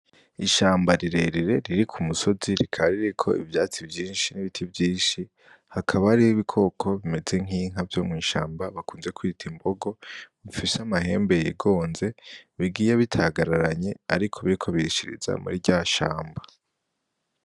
Ishamba rirerire riri ku musozi. Rikaba ririko ivyatsi vyinshi n'ibiti vyinshi. Hakaba hariho ibikoko bimeze n'inka vyo mw'ishamba bakunze kwita imbogo bifise amahembe yigonze bigiye bitagararanye ariko birishiriza muri rya shamba.